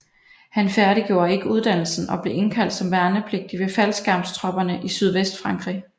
Han færdiggjorde ikke uddannelsen og blev indkaldt som værnepligtig ved faldskærmstropperne i Sydvestfrankrig